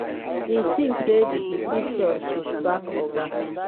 im tink say di decision to sack oga